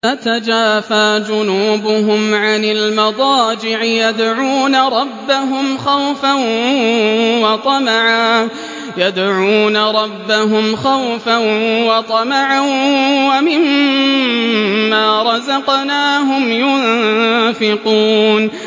تَتَجَافَىٰ جُنُوبُهُمْ عَنِ الْمَضَاجِعِ يَدْعُونَ رَبَّهُمْ خَوْفًا وَطَمَعًا وَمِمَّا رَزَقْنَاهُمْ يُنفِقُونَ